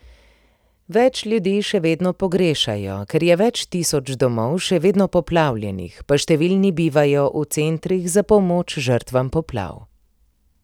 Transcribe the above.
Več ljudi še vedno pogrešajo, ker je več tisoč domov še vedno poplavljenih, pa številni bivajo v centrih za pomoč žrtvam poplav.